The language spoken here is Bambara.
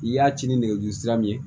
I y'a ci ni nɛgɛjuru sira ye